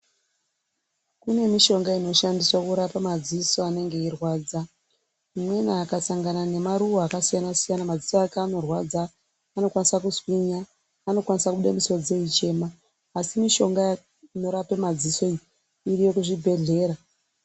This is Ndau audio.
Kune mishonga inoshandiswa kurapa madziso anenge eyirwadza, umweni akasangana nemaruwa akasiyana-siyana, madziso ake anorwadza, anokwanisa kuswinya, anokwanisa kubuda musodzi eyichema, asi mishonga inorape madziso iyi, iriyo kuzvibhedhlera.